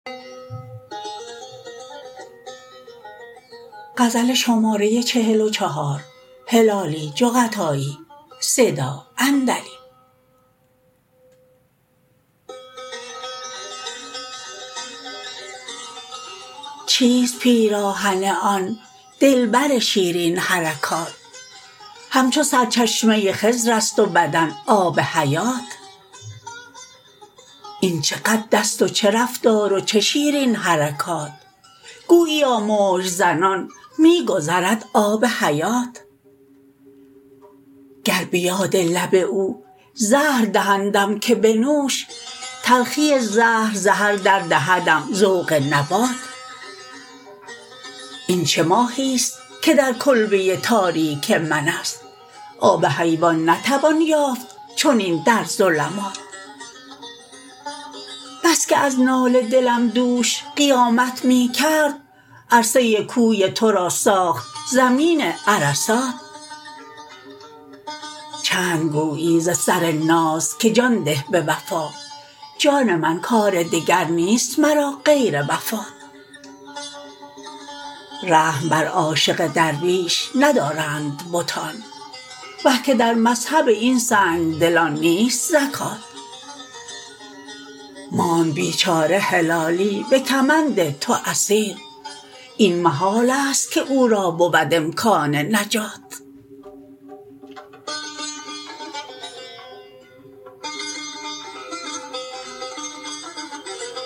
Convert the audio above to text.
چیست پیراهن آن دلبر شیرین حرکات همچو سرچشمه ی خضر است و بدن آب حیات این چه قد است و چه رفتار و چه شیرین حرکات گوییا موج زنان می گذرد آب حیات گر به یاد لب او زهر دهندم که بنوش تلخی زهر ز هر در دهدم ذوق نبات این چه ماهی است که در کلبه ی تاریک من است آب حیوان نتوان یافت چنین در ظلمات بس که از ناله دلم دوش قیامت می کرد عرصه ی کوی تو را ساخت زمین عرصات چند گویی ز سر ناز که جان ده به وفا جان من کار دگر نیست مرا غیر وفات رحم بر عاشق درویش ندارند بتان وه که در مذهب این سنگدلان نیست زکات ماند بیچاره هلالی به کمند تو اسیر این محال است که او را بود امکان نجات